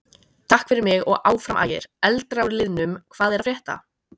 Takk fyrir mig og Áfram Ægir.Eldra úr liðnum Hvað er að frétta?